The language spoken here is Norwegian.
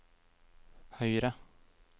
høyre